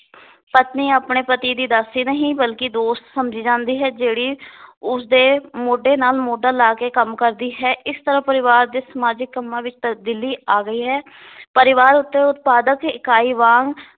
ਪਤਨੀ ਆਪਣੇ ਪਤੀ ਦੀ ਦਾਸੀ ਨਹੀ ਬਲਕਿ ਦੋਸਤ ਸਮਝੀ ਜਾਂਦੀ ਹੈ ਜਿਹੜੀ ਉਸ ਦੇ ਮੋਢੇ ਨਾਲ ਮੋਢਾ ਲਾ ਕੇ ਕੰਮ ਕਰਦੀ ਹੈ ਇਸ ਤਰਾਂ ਪਰਿਵਾਰ ਦੇ ਸਮਾਜਿਕ ਕੰਮਾਂ ਵਿੱਚ ਤਬਦੀਲੀ ਆ ਗਈ ਹੈ ਪਰਿਵਾਰ ਉਤੇ ਉਤਪਾਦਕ ਇਕਾਈ ਵਾਂਗ